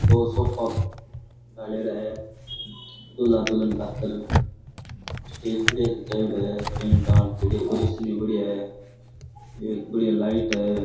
दो सोफा घालेडा है दूल्हा दुल्हन खातर स्टेज बढ़िया जचाएडो है टेंट टांट की डेकोरेशन ही बढ़िया है एक बढ़िया लाइट है।